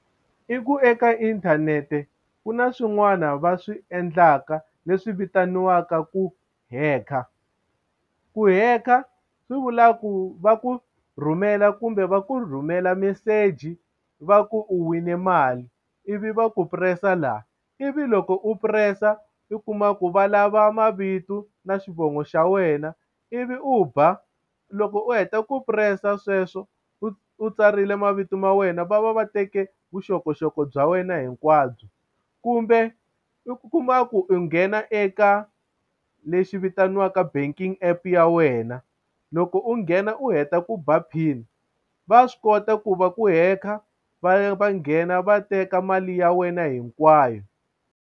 I ku eka inthanete ku na swin'wana va swi endlaka leswi vitaniwaka ku hekha ku hekha swi vula ku va ku rhumela kumbe va ku rhumela meseji va ku u wine mali ivi va ku press-a la ivi loko u press-a u kuma ku va lava mavito na xivongo xa wena ivi u ba loko u heta ku press-a sweswo u tsarile mavito ma wena va va va teke vuxokoxoko bya wena hinkwabyo kumbe u kuma ku u nghena eka lexi vitaniwaka banking app ya wena loko u nghena u heta ku ba pin va swi kota ku va ku hekha va va nghena va teka mali ya wena hinkwayo.